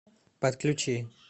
подключи